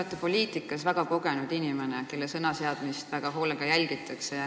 Te olete poliitikas väga kogenud inimene, kelle sõnaseadmist väga hoolega jälgitakse.